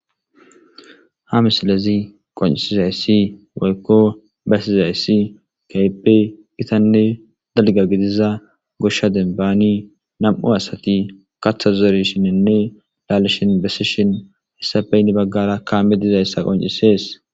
Ha misilezi qonccissizayssi woykko besizayssi keehippe githanne gidiza goshsha dembbaani nam7u asathi kaththa zerishiininne laalishin besishin essappe hini baggaara kaamee dizayssa qonccissees.